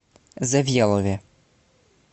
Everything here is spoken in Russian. завьялове